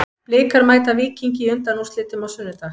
Blikar mæta Víkingi í undanúrslitum á sunnudag.